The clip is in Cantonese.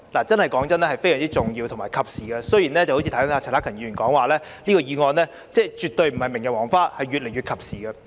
坦白說，這是非常重要和及時的，正如剛才陳克勤議員說，這項議案絕對不是明日黃花，而是越來越及時。